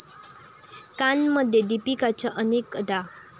कानमध्ये दीपिकाच्या अनेक अदा